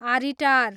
आरिटार